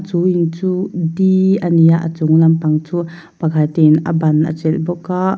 chu in chu di ani a a chunglam pang chu pakhat in a ban a chelh bawk a.